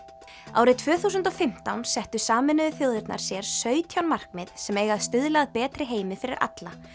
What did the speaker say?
árið tvö þúsund og fimmtán settu Sameinuðu þjóðirnar sér sautján markmið sem eiga að stuðla að betri heimi fyrir alla